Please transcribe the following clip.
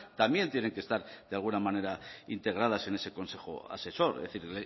también tienen que estar de alguna manera integradas en ese consejo asesor es decir